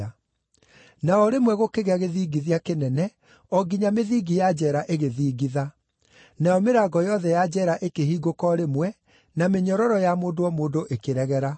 Na o rĩmwe gũkĩgĩa gĩthingithia kĩnene o nginya mĩthingi ya njeera ĩgĩthingitha. Nayo mĩrango yothe ya njeera ikĩhingũka o rĩmwe, na mĩnyororo ya mũndũ o mũndũ ĩkĩregera.